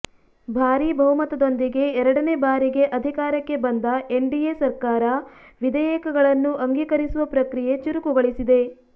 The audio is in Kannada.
ಭಾರಿ ಬಹುಮತದೊಂದಿಗೆ ಎರಡನೇ ಬಾರಿಗೆ ಅಧಿಕಾರಕ್ಕೆ ಬಂದ ಎನ್ಡಿಎ ಸರ್ಕಾರ ವಿಧೇಯಕಗಳನ್ನು ಅಂಗೀಕರಿಸುವ ಪ್ರಕ್ರಿಯೆ ಚುರುಕುಗೊಳಿಸಿದೆ